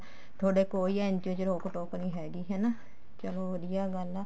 ਤੁਹਾਡੇ ਕੋਈ NGO ਚ ਰੋਕ ਟੋਕ ਨੀ ਹੈਗੀ ਹਨਾ ਚਲੋ ਵਧੀਆ ਗੱਲ ਆ